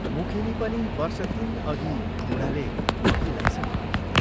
मुखेनी पनि वर्ष तीनअघि बूढाले अघि लाइसकेको थियो।